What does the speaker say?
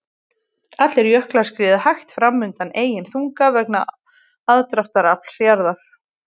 Allir jöklar skríða hægt fram undan eigin þunga vegna aðdráttarafls jarðar.